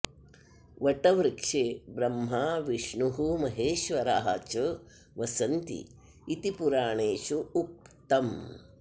वटवृक्षे ब्रह्मा विष्णुः महेश्वरः च वसन्ति इति पुराणेषु उक्तम्